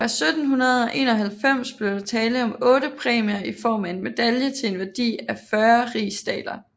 Fra 1791 blev der tale om otte præmier i form af en medalje til en værdi af 40 rigsdaler